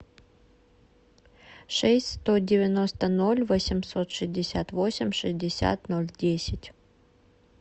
шесть сто девяносто ноль восемьсот шестьдесят восемь шестьдесят ноль десять